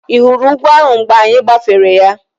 Ị hụrụ ugwu ahụ mgbe anyị gbafere ya?